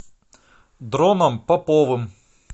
дроном поповым